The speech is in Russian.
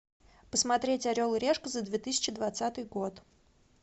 посмотреть орел и решка за две тысячи двадцатый год